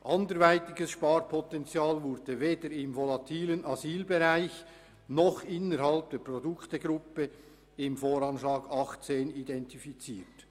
Anderweitiges Sparpotenzial wurde weder im volatilen Asylbereich noch innerhalb der Produktgruppe im VA 2018 identifiziert.